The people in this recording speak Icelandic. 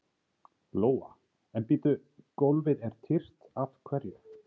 Lóa: En bíddu, gólfið er tyrft, af hverju?